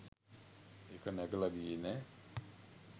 ඒක නැගලා ගියේ නෑ